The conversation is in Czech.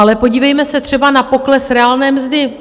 Ale podívejme se třeba na pokles reálné mzdy.